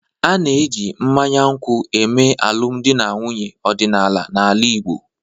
A na-eji mmanya nkwụ eme alụmdi na nwunye ọdịnala n'ala Igbo